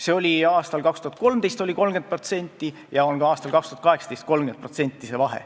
See vahe oli aastal 2013 30% ja on ka aastal 2018 30%.